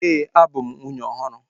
Ee, abu m nwunye ọhụrụ